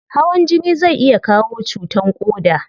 Hawan jini zai iya kawo cutan koda